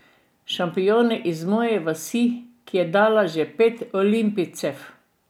Šampioni iz moje vasi, ki je dala že pet olimpijcev.